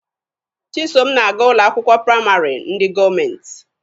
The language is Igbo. Chisom na-aga ụlọ akwụkwọ praịmarị ndị gọọmenti.